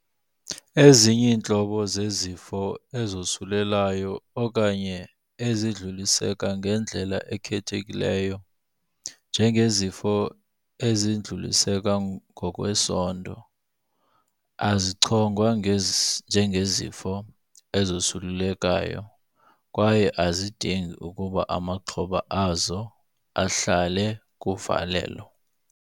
Ezinye iintlobo zezifo ezosulelayo okanye ezidluliseka ngendlala ekhethekileyo, njengezifo ezidluliseka ngokwesondo, azichongwa njengezifo "ezosulelekayo", kwaye azidingi ukuba amaxhoba azo ahlale kuvalelo.